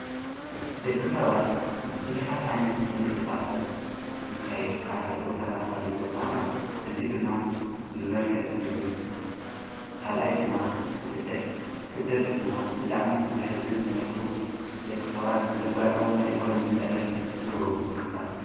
ደቂ ሰባት ብዙኃት ዓይነት ምቅሥቃሳት ይካይዱካ ሓደ ቦታናው ካልእ ቦታ ለጅ እዙይ ድማ ብመልከዕ ቱርዝም ካልኣይ ድማ ብስደጥ ስደት ድማ ብጣዕሚ ብዝሕዝን መልክዑ ደቂ ሰባት ብዘጋጠሞም ናይ ኢኮኖሚ ጸገም ዝገብርዎ ምቅስቃሳት።